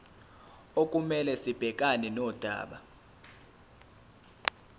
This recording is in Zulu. okumele sibhekane nodaba